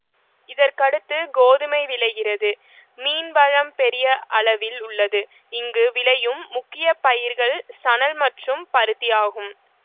இதற்கடுத்து கோதுமை விளைகிறது மீன்வளம் பெரிய அளவில் உள்ளது இங்கு விளையும் முக்கிய பயிர்கள் சணல் மற்றும் பருத்தி ஆகும்